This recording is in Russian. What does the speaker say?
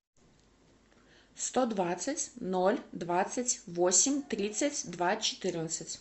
сто двадцать ноль двадцать восемь тридцать два четырнадцать